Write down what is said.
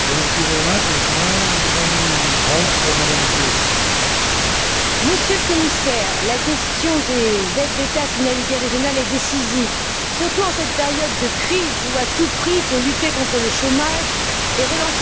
Monsieur le Président, Monsieur le Commissaire, la question des aides d'État à finalité régionale est décisive, surtout en cette période de crise où, à tout prix, il faut lutter contre le chômage et relancer l'économie.